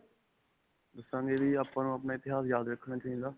ਦੱਸਾਂਗੇ ਵੀ ਆਪਾਂ ਨੂੰ ਆਪਣਾ ਇਤਿਹਾਸ ਯਾਦ ਰਖਣਾ ਚਾਹਿਦਾ.